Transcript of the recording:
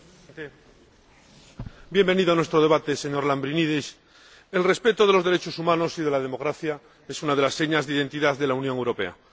Señor Presidente, bienvenido a nuestro debate, señor Lambrinidis. El respeto de los derechos humanos y de la democracia es una de las señas de identidad de la Unión Europea